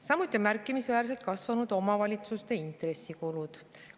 Samuti on märkimisväärselt kasvanud omavalitsusüksuste intressikulud.